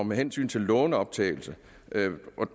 med hensyn til lånoptagelse